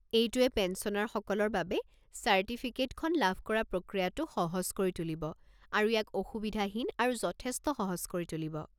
এইটোৱে পেঞ্চনাৰসকলৰ বাবে চাৰ্টিফিকেটখন লাভ কৰা প্ৰক্ৰিয়াটো সহজ কৰি তুলিব আৰু ইয়াক অসুবিধাহীন আৰু যথেষ্ট সহজ কৰি তুলিব।